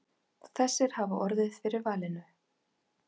Þessir hafi orðið fyrir valinu.